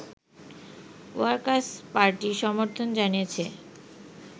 workers Party সমর্থন জানিয়েছে